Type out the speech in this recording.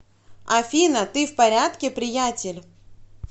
афина ты в порядке приятель